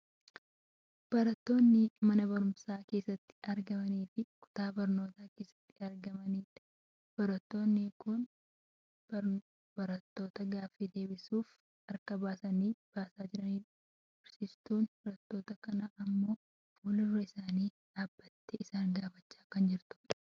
Barattoota mana barumsaa keessatti argamaniifi kutaa barnootaa keessatti argamanidha. Barattoonni kun barattoota gaafii deebisuuf harka isaanii baasaa jiranidha. Barsiiftuun barattoota kanaa ammoo fuuldura isaanii dhaabbattee isaan gaafachaa kan jirtu dha.